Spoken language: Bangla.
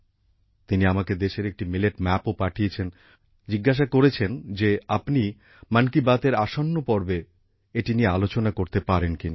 তিনি আমাকে দেশের একটি মিলেট ম্যাপও পাঠিয়েছেন এবং জিজ্ঞাসা করেছেন যে আপনি মন কি বাত এর আসন্ন পর্বে এটি নিয়ে আলোচনা করতে পারেন কিনা